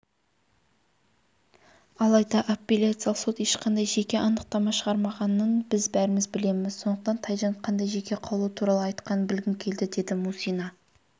алайда апелляциялық сот ешқандай жеке анықтама шығармағанын біз бәріміз білеміз сондықтан тайжан қандай жеке қаулы туралы айтқанын білгім келді деді мусина